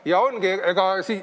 Ja ongi nii!